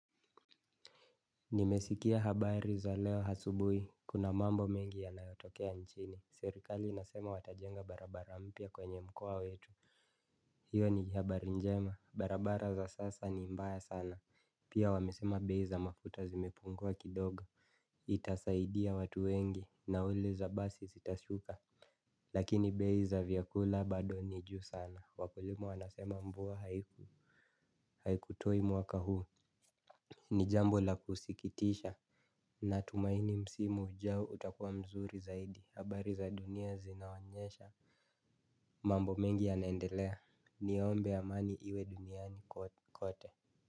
Nimesikia habari za leo asubui, kuna mambo mengi yanayotokea nchini. Serikali inasema watajenga barabara mpya kwenye mkoa wetu. Hiyo ni habari njema, barabara za sasa ni mbaya sana. Pia wamesema bei za mafuta zimepungua kidogo. Itasaidia watu wengi, nauli za basi sitashuka. Lakini bei za vyakula bado ni juu sana, wakulima wanasema mbua haikutoi mwaka huu. Ni jambo la kusikitisha. Natumaini msimu ujao utakuwa mzuri zaidi habari za dunia zinaonyesha. Mambo mengi ya naendelea niombe amani iwe duniani kote.